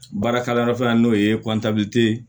Baarakalanyɔrɔ fana n'o ye ye